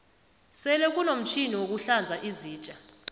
sele kunomtjhini wokuhlanza izitja